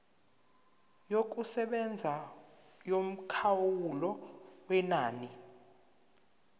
yokusebenza yomkhawulo wenani